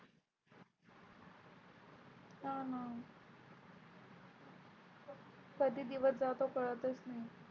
कधी दिवस जातो कळतच नाही.